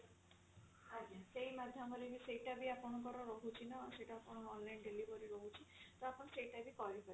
ସେଇଟା ବି ଆପଣଙ୍କର ରହୁଛି ନା ସେଇଟା ଆପଣଙ୍କର online delivery ରହୁଛି ତ ଆପଣ ସେଇଟା ବି କରିପାରିବେ